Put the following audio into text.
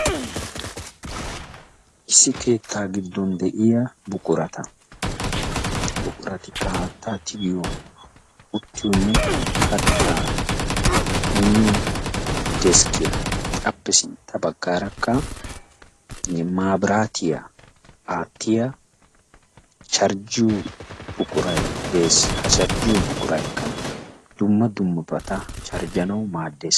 Issi keettaa giddon de'iya buqurata buquratikka haattaan tigiyo, uttiyonne kattaa miyo deskkiya. Appe sintta baggaarakka maabiraatiya aattiya charjjiyo buquray dees. Ha charjjiyo buquraykka dumma dummabata charjjanawu maaddees.